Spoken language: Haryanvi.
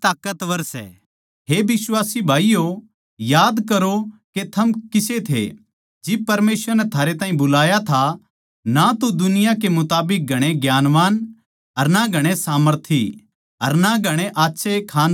हे बिश्वासी भाईयो याद करो के थम किसे थे जिब परमेसवर नै थारे ताहीं बुलाया था ना तो दुनिया के मुताबिक घणे ज्ञानवान अर ना घणे सामर्थी अर ना घणे आच्छे खानदान आळे थे